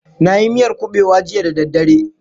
Na yi miyar kuɓewa jiya da daddare.